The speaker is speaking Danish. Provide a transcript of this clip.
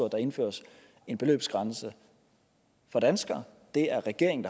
der indføres en beløbsgrænse for danskere det er regeringen